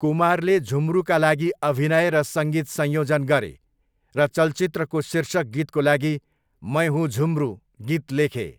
कुमारले झुम्रुका लागि अभिनय र सङ्गीत संयोजन गरे, र चलचित्रको शीर्षक गीतको लागि 'मैं हुूँ झुम्रू' गीत लेखे।